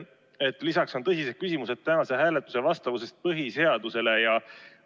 Lisaks on tekkinud tõsised küsimused tänase hääletuse põhiseadusele vastavuse kohta.